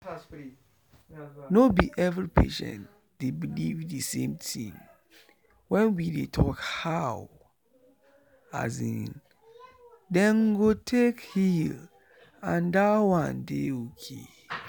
no be every patient dey believe the same thing when we dey talk how dem go take heal and that one dey okay.